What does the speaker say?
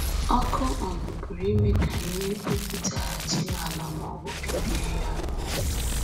Ọkụ um pụrụ ime ka ihe pupụtaghachi n’ala ma ọ bụ bibie ya um